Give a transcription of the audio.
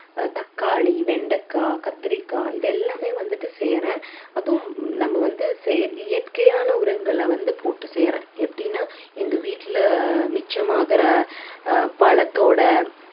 தக்காளி, வெண்டைக்காய், கத்தரிக்காய் இது எல்லாமே வந்துட்டு செய்யுறேன் அதுவும் நம்ம வந்து செ~ இயற்கையான உரங்களை வந்து போட்டு செய்யுறேன் எப்படின்னா எங்க வீட்டுல மிச்சம் ஆகுற அஹ் பழத்தோட